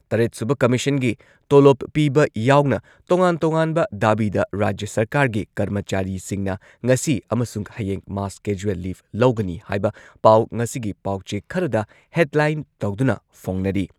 ꯇꯔꯦꯠ ꯁꯨꯕ ꯀꯃꯤꯁꯟꯒꯤ ꯇꯣꯂꯣꯞ ꯄꯤꯕ ꯌꯥꯎꯅ ꯇꯣꯉꯥꯟ ꯇꯣꯉꯥꯟꯕ ꯗꯥꯕꯤꯗ ꯔꯥꯖ꯭ꯌ ꯁꯔꯀꯥꯔꯒꯤ ꯀꯔꯃꯆꯥꯔꯤꯁꯤꯡꯅ ꯉꯁꯤ ꯑꯃꯁꯨꯡ ꯍꯌꯦꯡ ꯃꯥꯁ ꯀꯦꯖꯨꯋꯦꯜ ꯂꯤꯚ ꯂꯧꯒꯅꯤ ꯍꯥꯏꯕ ꯄꯥꯎ ꯉꯁꯤꯒꯤ ꯄꯥꯎꯆꯦ ꯈꯔꯗ ꯍꯦꯗꯂꯥꯏꯟ ꯇꯧꯗꯨꯅ ꯐꯣꯡꯅꯔꯤ ꯫